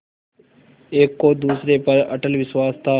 एक को दूसरे पर अटल विश्वास था